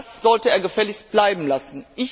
Das sollte er gefälligst bleiben lassen.